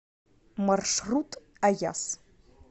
маршрут аяс